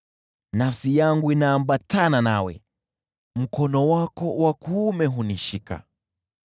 Nafsi yangu inaambatana nawe, mkono wako wa kuume hunishika.